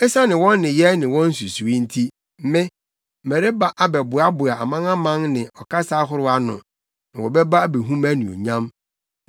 “Esiane wɔn nneyɛe ne wɔn nsusuwii nti, Me, mereba abɛboaboa amanaman ne ɔkasa ahorow ano, na wɔbɛba abehu mʼanuonyam.